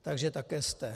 Takže také zde...